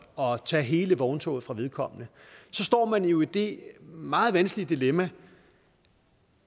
og tage hele vogntoget fra vedkommende så står man jo i det meget vanskelige dilemma